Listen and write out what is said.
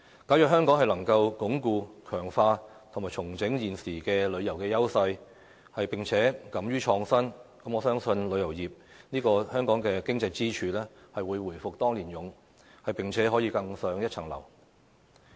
假如香港能夠鞏固、強化及重整現時的旅遊優勢，並且敢於創新，我相信旅遊業這個香港經濟支柱，會回復當年勇，並且可以更上一層樓。